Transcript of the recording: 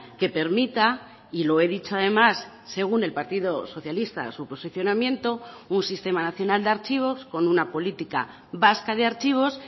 que permita y lo he dicho además según el partido socialista su posicionamiento un sistema nacional de archivos con una política vasca de archivos